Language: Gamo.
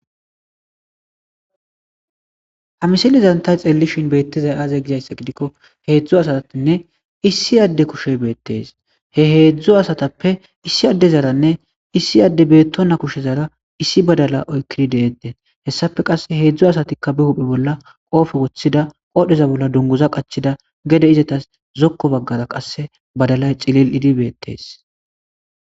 Ha misilezan xeellishin beettizay aaze gidikko heedzdzu asatinne issi adde kushey beettees,he heedzdzuasatappe issi addezaranne issi adde beettonna kushezan issi badala oyqqidi de7ettees hessappe qasse heedzdzu asatikka be huphe bolla qoope woththida qoodheza bollan dunguza qachchida gede qasse zokko baggara badalay cili7idi beettees.